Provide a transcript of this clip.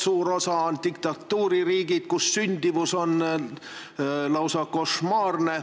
Suur osa on diktatuuririigid, kus sündimus on lausa košmaarne.